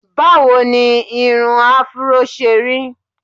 Báwo ni irun afro ṣe rí?